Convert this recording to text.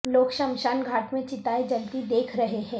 لوگ شمشان گھاٹ میں چتائیں جلتی دیکھ رہے ہیں